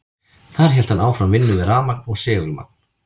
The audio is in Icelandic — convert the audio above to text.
Þar hélt hann áfram vinnu við rafmagn og segulmagn.